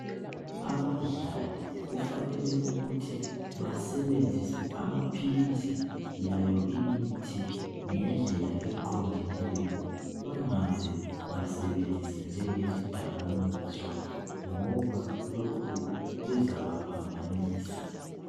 Abadlali kufanele ukuthi basebenzise amaphilisi layo imithi ngendlela eqondileyo bangaze basebenzise njenge zidakaniswa ngoba lokhu kuzaba phambanisa